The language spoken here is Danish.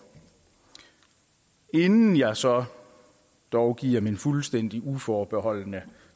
inden jeg så dog giver min fuldstændig uforbeholdne